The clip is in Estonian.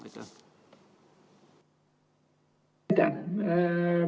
Aitäh!